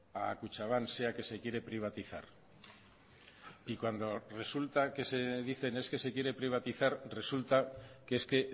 a kutxabank sea que se quiere privatizar y cuando resulta que se dicen es que se quiere privatizar resulta que es que